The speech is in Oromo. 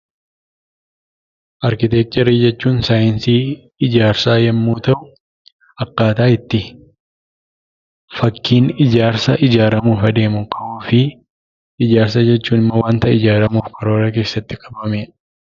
Arkiteekcharii jechuun saayinsii ijaarsaa yommuu ta'u, akkaataa itti fakkiin ijaarsaa ijaaramuu fi adeemuu qabuu fi ijaarsa jechuun immoo waanta ijaaramuuf karoora keessatti qabamedha.